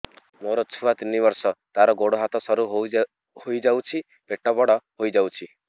ମୋ ଛୁଆ ତିନି ବର୍ଷ ତାର ଗୋଡ ହାତ ସରୁ ହୋଇଯାଉଛି ପେଟ ବଡ ହୋଇ ଯାଉଛି